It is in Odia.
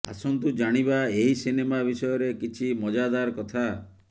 ଆସନ୍ତୁ ଜାଣିବା ଏହି ସିନେମା ବିଷୟରେ କିଛି ମଜାଦାର କଥା